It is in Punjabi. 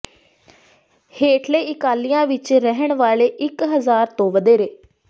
ਹੇਠਲੇ ਇਲਾਕਿਆਂ ਵਿਚ ਰਹਿਣ ਵਾਲੇ ਇਕ ਹਜ਼ਾਰ ਤੋਂ ਵਧੇਰੇ